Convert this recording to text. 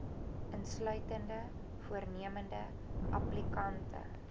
insluitende voornemende applikante